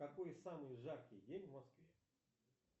какой самый жаркий день в москве